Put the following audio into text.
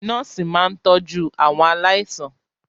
Nọ́ọ̀sì máa ń tọjú àwọn aláìsàn.